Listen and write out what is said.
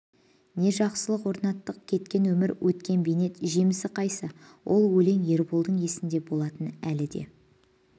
не жақсылық орнаттық кеткен өмір өткен бейнет жемісі қайсы ол өлең ерболдың есінде болатын әлі де